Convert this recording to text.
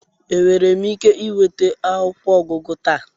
Enwere m ike ịnweta akwụkwọ ọgụgụ taa?